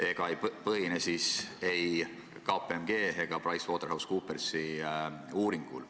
Need ei põhine ei KPMG ega PricewaterhouseCoopersi uuringul.